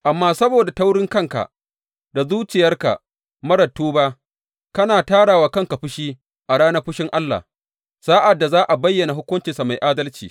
Amma saboda taurinkanka da zuciyarka marar tuba, kana tara wa kanka fushi a ranar fushin Allah, sa’ad da za a bayyana hukuncinsa mai adalci.